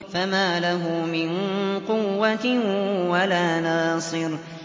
فَمَا لَهُ مِن قُوَّةٍ وَلَا نَاصِرٍ